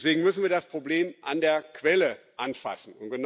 Deswegen müssen wir das Problem an der Quelle anfassen.